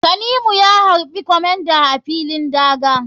Tanimu ya harɓi comander a filin daga.